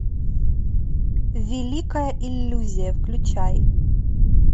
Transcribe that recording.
великая иллюзия включай